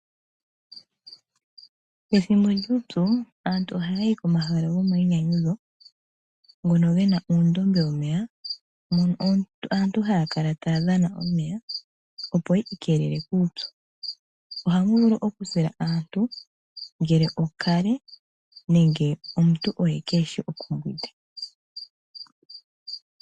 Pethimbo lyuupyu aantu ohaya yi komahala gomainyanyudho, ngono ge na uundombe womeya mono aantu haa kala taya dhana omeya, opo yi ikeelele kuupyu. Ohamu vulu okusila aantu, ngele okale nenge omuntu oye kee shi okumbwinda.